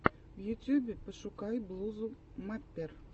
в ютьюбе пошукай блузу маппер